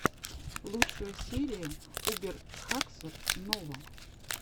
лучшая серия убер хаксор нова